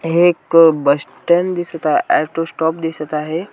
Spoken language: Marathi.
हे एक बस स्टॅन्ड दिसत आ ऑटो स्टॉप दिसत आहे.